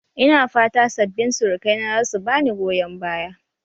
Ina fata sabbin surukaina za su ba ni goyon baya